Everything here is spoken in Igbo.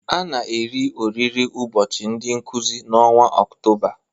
A na-eri oriri ụbọchị ndị Nkụzi n'ọnwa Ọktoba